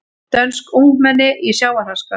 Dönsk ungmenni í sjávarháska